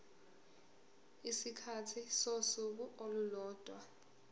isikhathi sosuku olulodwa